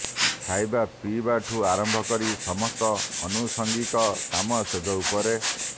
ଖାଇବା ପିଇବାଠୁ ଆରମ୍ଭ କରି ସମସ୍ତ ଆନୁଷଙ୍ଗିକ କାମ ଶେଯ ଉପରେ